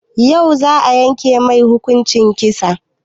Yau za a yanke mai hukuncin kisa?